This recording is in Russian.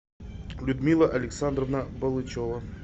людмила александровна балычева